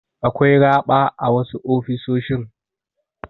Akwai raɓa a wasu ofisoshin.